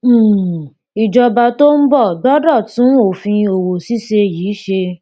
um ìjọba tó ń bọ gbọdọ tún òfin òwò ṣíṣe yìí ṣe